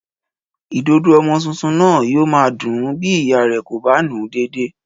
Ìdodo ọmọ tuntun náà yóò máa dùn-ún bí ìyá rẹ̀ kò bá nù-ún dédé